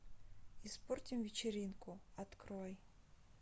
испортим вечеринку открой